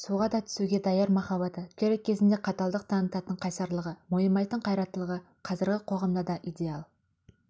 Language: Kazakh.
суға да түсуге даяр махаббаты керек кезінде қаталдық танытатын қайсарлығы мойымайтын қайраттылығы қазіргі қоғамда да идеал